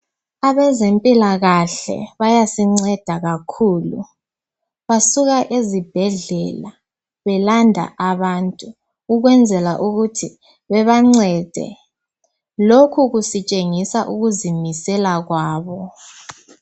abezempilakahle bayasinceda kakhulu basuka ezibhedlela belanda abantu ukwenzela ukuthi babancede lokhu kusitshengisa ukuzimisela kwabo